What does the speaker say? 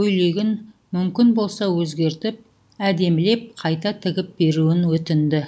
көйлегін мүмкін болса өзгертіп әдемілеп қайта тігіп беруін өтінді